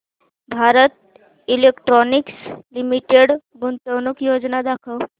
Bharat electronics limited गुंतवणूक योजना दाखव